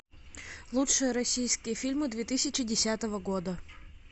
лучшие российские фильмы две тысячи десятого года